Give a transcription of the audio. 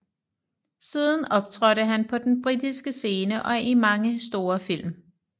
Siden optrådte han på den britiske scene og i mange store film